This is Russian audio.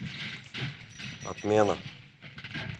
отмена